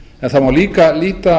það mál líka líta